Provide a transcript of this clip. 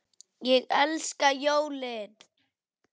Ég elska jólin!